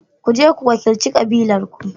Ku je ku wakilci kabilarku.